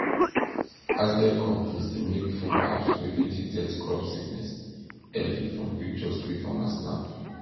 agritech companies dey make phone apps wey fit detect crop sickness early from pictures wey farmer snap